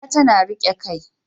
Wuya tana riƙe kai.